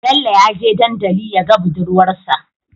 Bello yaje dandali yaga budurwar sa